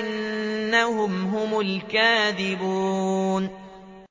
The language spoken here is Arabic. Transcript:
إِنَّهُمْ هُمُ الْكَاذِبُونَ